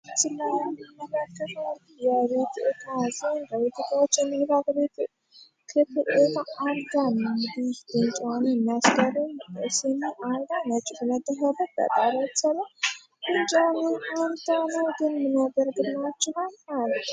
ስላ መጋከፉ የቤቱጋ ን ጥቶዎችንንባግቤቱ ክፕታ አልጋን ዲህ ንጫዋኑ የሚያስገሩን ሴሚ አልጋን የጭግመጥኸበት በጣሮዎት ሰሎ ንጃን አንተኖ ግን ምኖብር ግላችንል አለ